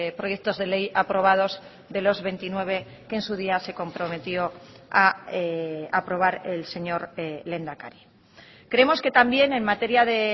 proyectos de ley aprobados de los veintinueve que en su día se comprometió a aprobar el señor lehendakari creemos que también en materia de